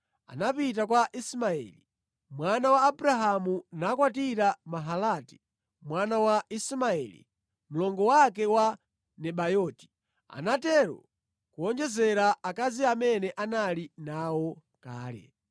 anapita kwa Ismaeli mwana wa Abrahamu nakwatira Mahalati mwana wa Ismaeli, mlongo wake wa Nebayoti. Anatero kuwonjezera akazi amene anali nawo kale.